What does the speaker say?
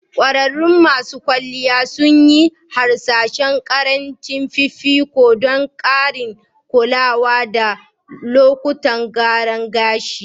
Ƙwararrun masu kwalliya sun yi hasashen ƙarin fifiko don ƙarancin kulawa da salon gyara gashii